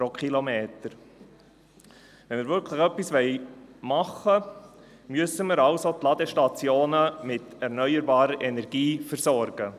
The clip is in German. Wenn wir wirklich etwas tun wollen, müssen wir folglich die Ladestationen mit erneuerbarer Energie versorgen.